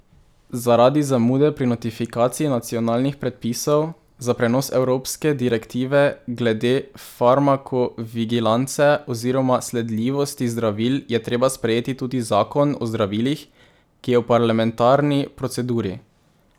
Zaradi zamude pri notifikaciji nacionalnih predpisov za prenos evropske direktive glede farmakovigilance oziroma sledljivosti zdravil je treba sprejeti tudi zakon o zdravilih, ki je v parlamentarni proceduri.